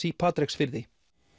í Patreksfirði